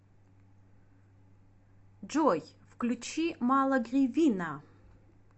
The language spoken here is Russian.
джой включи мало гривина